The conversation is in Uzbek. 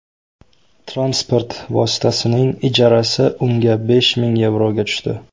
Transport vositasining ijarasi unga besh ming yevroga tushdi.